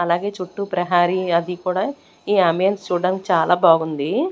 అలాగే చుట్టూ ప్రహారి అది కూడా ఈ అంబియన్స్ చూడ్డనికి చాలా బాగుంది.